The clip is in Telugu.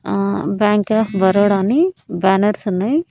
ఆ బ్యాంక్ ఆఫ్ బరోడా అని బ్యానర్స్ ఉన్నాయ్..